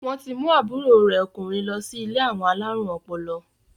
Wọn ti mú àbúrò rẹ̀ ọkùnrin lọ sí ilé àwọn alárùn ọpọlọ?